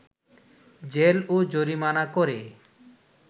jail ও জরিমানা করে